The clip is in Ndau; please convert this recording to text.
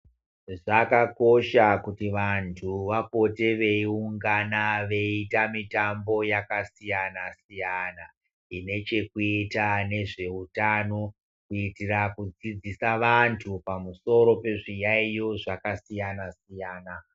Zvakakosha kuti vantu vapote veiungana veiita mitambo yakasiyana-siyana, inechekuita nezvehutano. Kuitira kudzidzisa vantu pamusoro pezviyaiyo zvakasiyana-siyana.